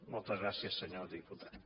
moltes gràcies senyor diputat